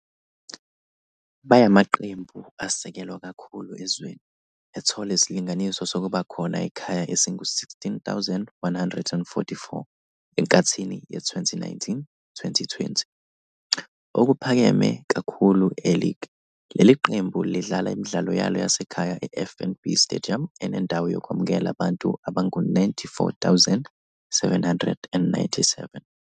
Bayamaqembu asekelwa kakhulu ezweni, ethola isilinganiso sokubakhona ekhaya esingu-16,144 enkathini ye-2019-20, okuphakeme kakhulu e-league. Leli qembu lidlala imidlalo yalo yasekhaya e-FNB Stadium enendawo yokwamukela abantu abangu-94,797.